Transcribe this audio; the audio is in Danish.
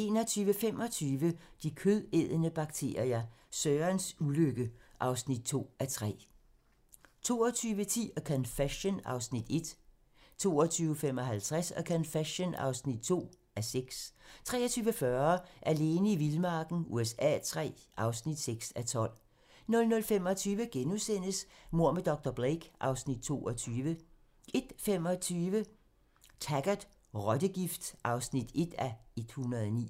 21:25: De kødædende bakterier - Sørens ulykke (2:3) 22:10: A Confession (1:6) 22:55: A Confession (2:6) 23:40: Alene i vildmarken USA III (6:12) 00:25: Mord med dr. Blake (Afs. 22)* 01:25: Taggart: Rottegift (1:109)